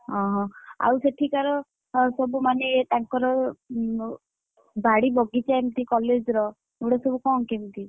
ଓହୋ, ଆଉ ସେଠିକାର, ସବୁ ମାନେ ତାଙ୍କର, ଉଁମ ବାଡିବଗିଚା ଏମିତି college ର, ଏଗୁଡା ସବୁ କଣ କେମିତି?